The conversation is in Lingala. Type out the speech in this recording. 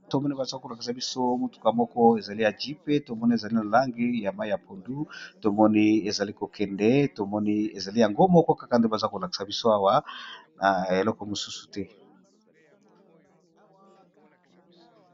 Babato moni bazaka kolakisa biso motuka moko ezali aji pe tomoni ezali na lange ya mai ya pondu tomoni ezali kokende tomoni ezali yango moko kaka nde baza kolakisa biso awa na eloko mosusu te.